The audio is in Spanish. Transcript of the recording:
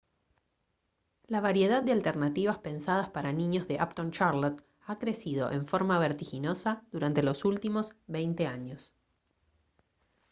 la variedad de alternativas pensadas para niños de uptown charlotte ha crecido en forma vertiginosa durante los últimos 20 años